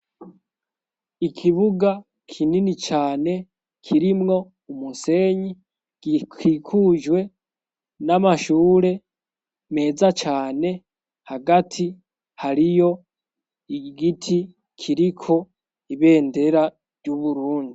Ikibuga kinini cane kirimwo umusenyi gikikujwe n'amashure meza cane hagati hariyo igiti kiriko ibendera ry'Uburundi.